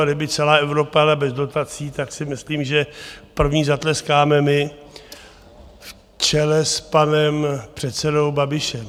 A kdyby celá Evropa jela bez dotací, tak si myslím, že první zatleskáme my, v čele s panem předsedou Babišem.